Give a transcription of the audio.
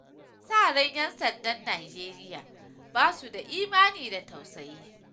Akasarin 'yan sandan Nijeriya ba su da imani da tausayi.